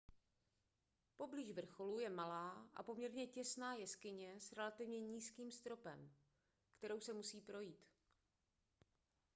poblíž vrcholu je malá a poměrně těsná jeskyně s relativně nízkým stropem kterou se musí projít